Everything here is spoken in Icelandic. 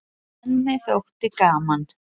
Henni þótti gaman.